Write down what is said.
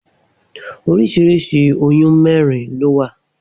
Oríṣiríṣi oyún mẹ́rin lówà